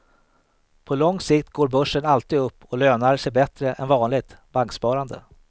På lång sikt går börsen alltid upp och lönar sig bättre än vanligt banksparande.